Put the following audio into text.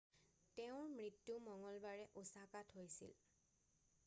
তেওঁৰ মৃত্যু মঙ্গলবাৰে ওচাকাত হৈছিল